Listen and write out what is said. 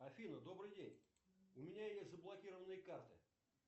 афина добрый день у меня есть заблокированные карты